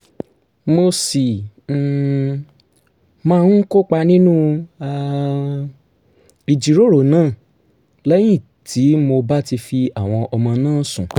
mo sì um máa ń kópa nínú um ìjíròrò náà lẹ́yìn tí mo bá ti fi àwọn ọmọ náà sùn